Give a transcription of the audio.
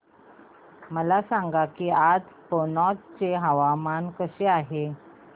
मला सांगा की आज कनौज चे हवामान कसे आहे